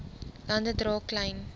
lande dra klein